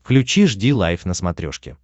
включи жди лайв на смотрешке